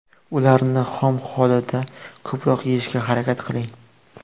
Ularni xom holida ko‘proq yeyishga harakat qiling.